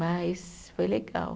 Mas foi legal.